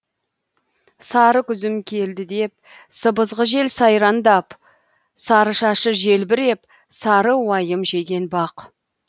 сары күзім келді деп сыбызғы жел сайрандап сары шашы желбіреп сары уайым жеген бақ